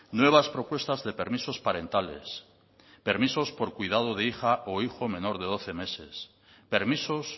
nuevas propuestas de permisos parentales permisos de cuidado de hija o hijo menor de doce meses permisos